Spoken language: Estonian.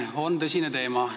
See on tõsine teema.